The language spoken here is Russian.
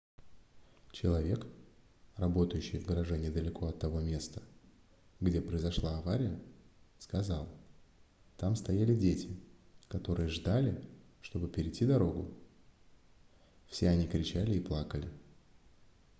человек работающий в гараже недалеко от того места где произошла авария сказал там стояли дети которые ждали чтобы перейти дорогу все они кричали и плакали